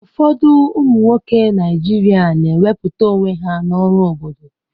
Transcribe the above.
Ụfọdụ ụmụ nwoke Naijiria na wepụta onwe ha n'ọrụ obodo.